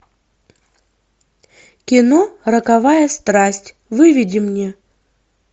кино роковая страсть выведи мне